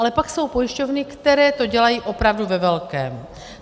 Ale pak jsou pojišťovny, které to dělají opravdu ve velkém.